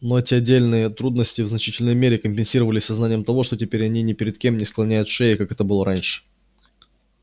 но эти отдельные трудности в значительной мере компенсировались сознанием того что теперь они ни перед кем не склоняют шеи как это было раньше